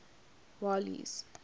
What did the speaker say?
walles